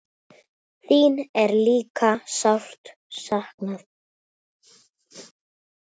Þín er líka sárt saknað.